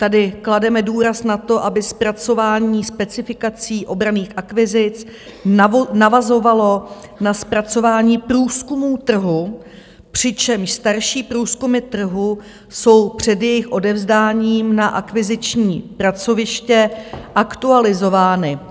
Tady klademe důraz na to, aby zpracování specifikací obranných akvizic navazovalo na zpracování průzkumů trhu, přičemž starší průzkumy trhu jsou před jejich odevzdáním na akviziční pracoviště aktualizovány.